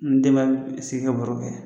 N den bɛ sigi ka baro kɛ